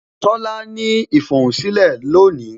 Tola ní ifohunsilẹ lónìí